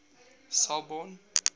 selborne